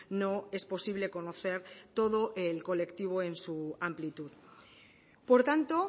no es posible conocer todo el colectivo en su amplitud por tanto